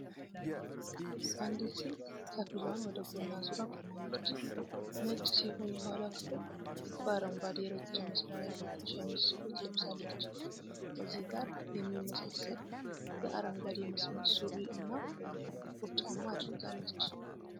አንዲት ሴት ከፊሏን ወደ ጎን አዙራ ቆማለች። ነጭ ሲሆን የኋላው ክፍል በአረንጓዴ የረጅም መስመር ያጌጠ ሸሚዝ ኮት ለብሳለች። ከዚህ ጋር የሚመሳሰል የአረንጓዴ መስመር ሱሪ እና ጥቁር ጫማ አድርጋለች።